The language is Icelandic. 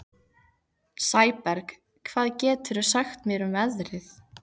Sæberg, hvað geturðu sagt mér um veðrið?